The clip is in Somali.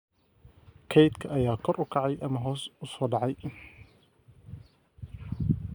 kaydka ayaa kor u kacayay ama hoos u socday